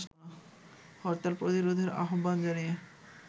হরতাল প্রতিরোধের আহ্বান জানিয়ে